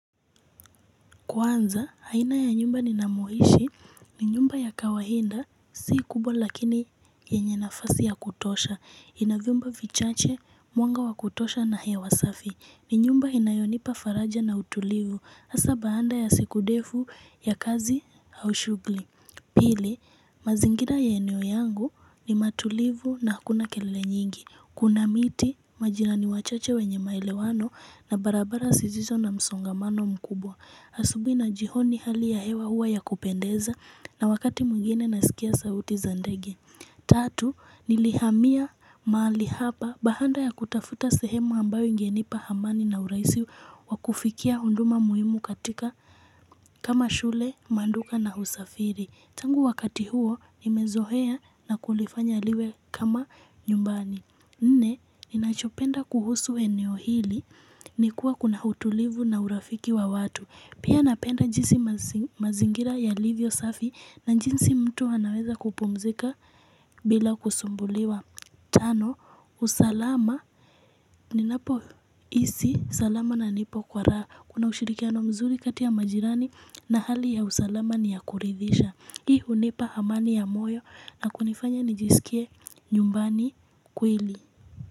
Kwanza, haina ya nyumba ni namohishi, ni nyumba ya kawainda, si kubwa lakini yenye nafasi ya kutosha, inavyumba vichache, mwanga wakutosha na hewa safi, ni nyumba inayonipa faraja na utulivu, hasa baanda ya siku defu ya kazi hau shugli. Pili, mazingira ya eneo yangu ni matulivu na hakuna kelele nyingi. Kuna miti, majirani wachache wenye maele wano na barabara zisizo na msongamano mkubwa. Asubui na jioni hali ya hewa huwa ya kupendeza na wakati mwingine nasikia sauti za ndege. Tatu, nilihamia mahali hapa bahanda ya kutafuta sehemu ambayo ingenipa hamani na uraisi wa kufikia hunduma muhimu katika kama shule, manduka na husafiri. Tangu wakati huo, nimezohea na kulifanya liwe kama nyumbani. Nne, ninachopenda kuhusu eneo hili ni kuwa kuna hutulivu na urafiki wa watu. Pia napenda jinsi mazingira yalivyo safi na jinsi mtu anaweza kupumzika bila kusumbuliwa Tano, usalama ni napo isi, salama na nipo kwa raha Kuna ushirikiano mzuri kati ya majirani na hali ya usalama ni ya kuridhisha Hii unipa amani ya moyo na kunifanya nijisikie nyumbani kweli.